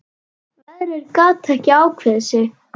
Veðrið gat ekki ákveðið sig.